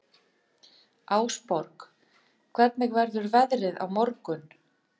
Ásborg, hvernig verður veðrið á morgun?